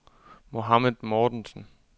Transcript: Mohamed Mortensen